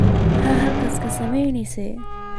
Maxaad halkaas ka samaynaysaa?